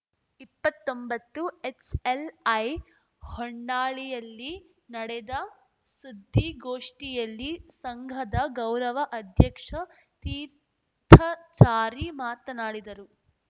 ಇಪ್ಪತ್ತೊಂಬತ್ತುಎಚ್‌ಎಲ್‌ಐ ಹೊನ್ನಾಳಿಯಲ್ಲಿ ನಡೆದ ಸುದ್ದಿಗೋಷ್ಠಿಯಲ್ಲಿ ಸಂಘದ ಗೌರವ ಅಧ್ಯಕ್ಷ ತೀರ್ಥಚಾರಿ ಮಾತನಾಡಿದರು